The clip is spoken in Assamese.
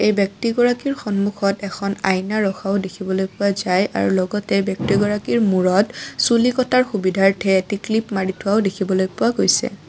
ব্যক্তি গৰাকীৰ সন্মুখত এখন আইয়না ৰখাও দেখিবলৈ পোৱা যায় আৰু লগতে ব্যক্তি গৰাকীৰ মূৰত চুলি কটাৰ সুবিধাৰ্থে এটি ক্লিপ মাৰি থোৱাও দেখিবলৈ পোৱা গৈছে।